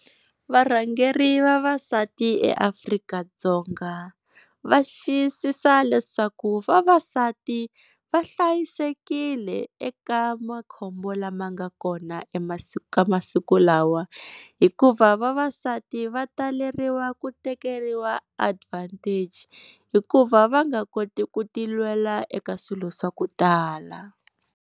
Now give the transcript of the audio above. Varhangeri vavasati eAfrika-Dzonga va xiyisisa leswaku vavasati va hlayisekile eka makhombo lama nga kona ka masiku lawa hikuva vavasati va taleriwa ku tekeriwa advantage hikuva va nga koti ku ti lwela eka swilo swa ku tala.